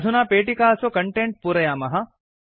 अधुना पेटिकासु कण्टेण्ट् पूरयामः